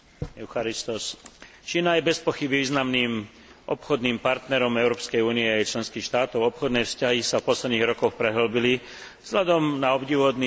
Čína je bezpochyby významným obchodným partnerom Európskej únie a jej členských štátov, obchodné vzťahy sa v posledných rokoch prehĺbili vzhľadom na obdivuhodný rast čínskej ekonomiky.